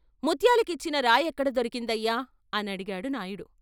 ముత్యాలు కిచ్చిన రాయెక్కడ దొరికిందయ్యా ' అనడిగాడు నాయుడు.